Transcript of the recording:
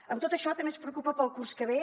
amb tot això també ens preocupa per al curs que ve